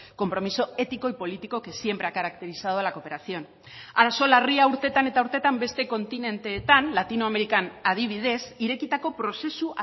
compromiso ético y político que siempre ha caracterizado a la cooperación arazo larria urtetan eta urtetan beste kontinenteetan latinoamerikan adibidez irekitako prozesu